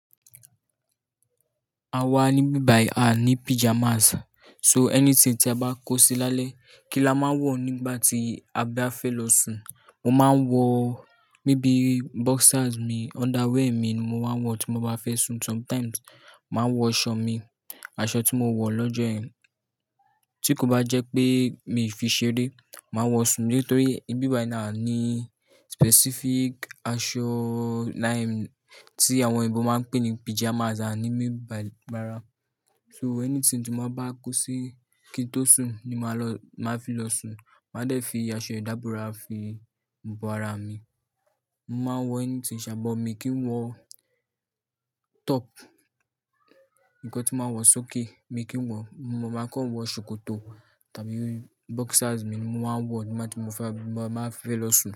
A wà níbí báyì a ní pyjamas. So anything tí a bá kó sí lálẹ́, kí la má wọ̀ nígbà tí a bá fẹ́ losu. Mo má wọ̀ níbí boxers mi, underwear mi ni mo wá wọ̀ tí mo bá fẹ́ sùn. Sometimes, má wọ̀ aṣọ mi, aṣọ tí mo wọ̀ lọ́jọ́ ẹn. Tí kò bá jẹpe mi fi ṣeré, má wọ̀ sùn nítorí ibí báyì a ní specific aṣọ tí àwọn òyìnbó má ń pè ní pyjamas a ní n bí báyì rárá. So anything tí mo bá kó sí kí n tó sùn ni má lò, má fi lọ sùn. Má dẹ̀ fi aṣọ ìdábora fi bo ara mi. Mo má wọ anything sà, bọ̀ mi kin wọ̀ top, ǹkan tí má wọ sókè mi kin wọ. Mo má kò wọ sòkòtò tàbí boxers mi ni mo wá wọ̀ nígbàtí mo fà, má fẹ́ lọsu.